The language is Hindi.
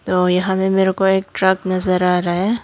तो यहां पर मेरे को एक ट्रक नजर आ रहा है।